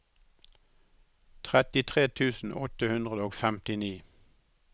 trettitre tusen åtte hundre og femtini